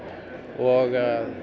og